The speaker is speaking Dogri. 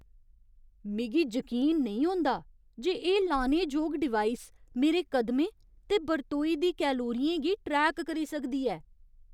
मिगी जकीन नेईं होंदा जे एह् लाने जोग डिवाइस मेरे कदमें ते बरतोई दी कैलोरियें गी ट्रैक करी सकदी ऐ।